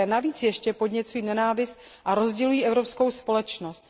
Navíc ještě podněcují nenávist a rozdělují evropskou společnost.